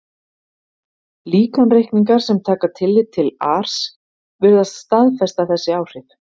Líkanreikningar sem taka tillit til ars virðast staðfesta þessi áhrif.